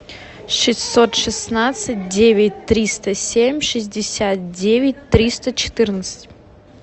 шестьсот шестнадцать девять триста семь шестьдесят девять триста четырнадцать